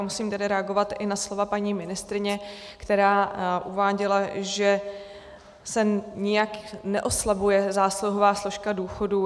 A musím tedy reagovat i na slova paní ministryně, která uváděla, že se nijak neoslabuje zásluhová složka důchodů.